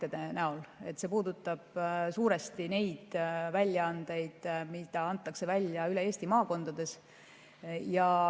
See puudutab suuresti neid väljaandeid, mida antakse välja üle Eesti maakondades.